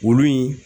Olu ye